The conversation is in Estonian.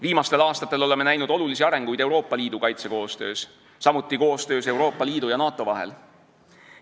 Viimastel aastatel oleme näinud olulisi arenguid Euroopa Liidu kaitsekoostöös, samuti koostöös Euroopa Liidu ja NATO vahel.